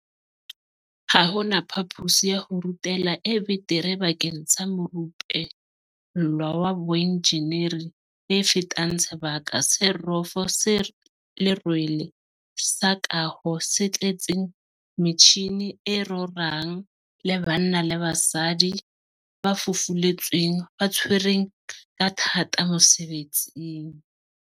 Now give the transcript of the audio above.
Ha hona phapusi ya ho rutela e betere bakeng sa morupe llwa wa boenjeneri e fetang sebaka se rofo se lerwele sa kaho se tletseng metjhini e rorang le banna le basadi ba fufuletsweng ba tshwereng ka thata mosebetsing.